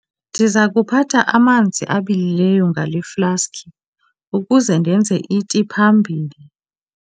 Ndiza kuphatha amanzi abilileyo ngale flaski ukuze ndenze iti phambili.